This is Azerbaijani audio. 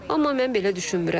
Amma mən belə düşünmürəm.